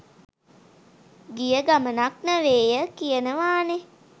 ගිය ගමනක් නෙවේය කියනවානේ.